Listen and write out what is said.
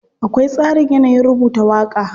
Akwai tsarin yanayin rubuta waƙa.